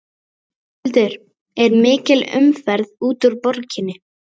Höskuldur er mikil umferð út úr borginni?